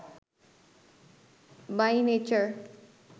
by nature